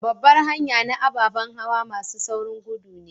Babbar hanya na ababan hawa masun saurin gudu ne.